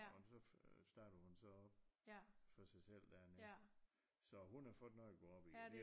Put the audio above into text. Og så øh så startede hun så op for sig selv dernede så hun har fået noget at gå op i